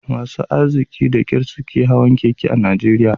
Masu arziki da kyar suke hawan keke a Najeriya